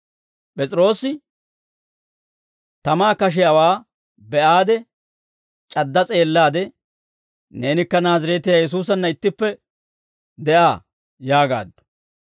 P'es'iroosi tamaa kashiyaawaa be'aade, c'adda s'eellaade, «Neenikka Naazireetiyaa Yesuusanna ittippe de'aa» yaagaaddu.